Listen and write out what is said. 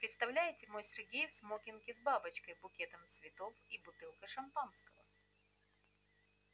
представляете мой сергей в смокинге с бабочкой букетом цветов и бутылкой шампанского